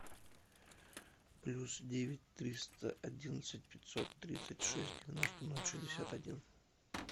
плюс девять триста одиннадцать пятьсот тридцать шесть девяносто ноль шестьдесят один